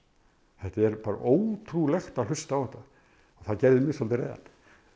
þetta er ótrúlegt að hlusta á þetta það gerði mig svolítið reiðan